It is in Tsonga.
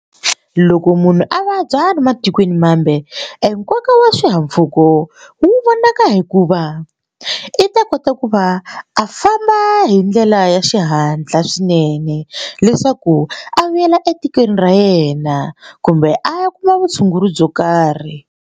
Loko munhu a vabya le matikweni mambe enkoka wa swihahampfhuka ko wu vonaka hikuva i ta kota ku va a famba hi ndlela ya xihatla swinene leswaku a vuyela etikweni ra yena kumbe a ya kuma vutshunguri byo karhi.